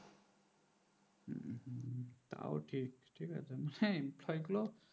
তাও ঠিক ঠিক আছে হ্যাঁ ছয় কিলো